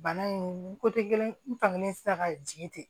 Bana in ko te kelen ye n fangelen tɛ se ka jigin ten